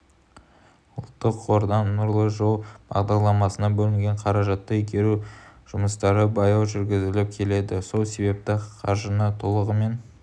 ұлттық қордан нұрлы жол бағдарламасына бөлінген қаражатты игеру жұмыстары баяу жүргізіліп келеді сол себепті қаржыны толығымен